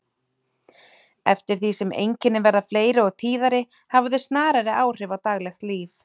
Eftir því sem einkennin verða fleiri og tíðari hafa þau snarari áhrif á daglegt líf.